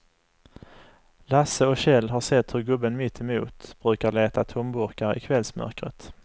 Lasse och Kjell har sett hur gubben mittemot brukar leta tomburkar i kvällsmörkret.